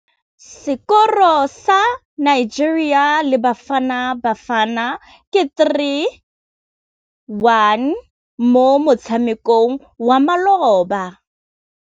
Sekôrô sa Nigeria le Bafanabafana ke 3-1 mo motshamekong wa malôba.